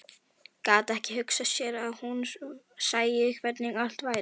Gat ekki hugsað sér að hún sæi hvernig allt væri.